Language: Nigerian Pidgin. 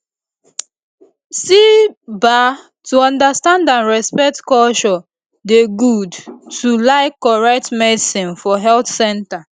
see ba to understand and respect culture dey good too like correct medicine for health center